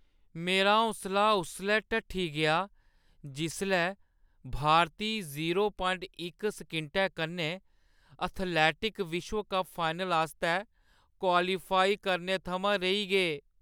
मेरा हौसला उसलै ढट्ठी गेआ जिसलै भारती जीरो प्वांइट इक सकिंटै कन्नै एथलैटिक विश्व कप फाइनल आस्तै क्वालीफाई करने थमां रेही गे।